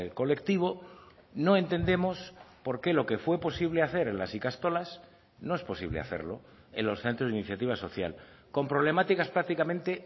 colectivo no entendemos por qué lo que fue posible hacer en las ikastolas no es posible hacerlo en los centros de iniciativa social con problemáticas prácticamente